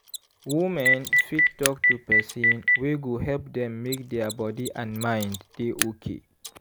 women fit talk to person wey go help dem make their body and mind dey okay.